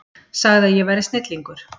Sagði að ég væri snillingur.